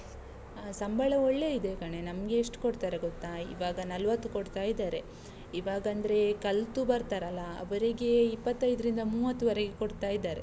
ಅಹ್ ಸಂಬಳ ಒಳ್ಳೇ ಇದೆ ಕಣೇ, ನಮ್ಗೆ ಎಷ್ಟು ಕೊಡ್ತಾರೆ ಗೊತ್ತಾ? ಈವಾಗ ನಲವತ್ತು ಕೊಡ್ತಾ ಇದಾರೆ, ಈವಾಗಂದ್ರೆ ಕಲ್ತು ಬರ್ತಾರಲ್ಲ, ಅವ್ರಿಗೆ ಇಪ್ಪತೈದ್ರಿಂದ ಮೂವತ್ತುವರೆಗೆ ಕೊಡ್ತಾ ಇದಾರೆ.